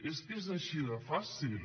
és que és així de fàcil